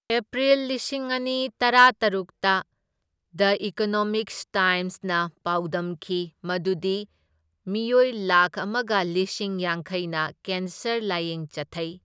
April ꯂꯤꯁꯤꯡ ꯑꯅꯤ ꯇꯔꯥꯇꯔꯨꯛꯇ, ꯗꯥ ꯏꯀꯣꯅꯣꯃꯤꯛ ꯇꯥꯏꯝꯁꯅ ꯄꯥꯎꯗꯝꯈꯤ ꯃꯗꯨꯗꯤ ꯃꯤꯑꯣꯏ ꯂꯥꯛꯈ ꯑꯃꯒ ꯂꯤꯁꯤꯡ ꯌꯥꯡꯈꯩꯅ ꯀꯦꯟꯁꯔ ꯂꯥꯏꯌꯦꯡ ꯆꯠꯊꯩ꯫